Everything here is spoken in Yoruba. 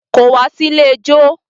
Kò wá sí ilé ijó.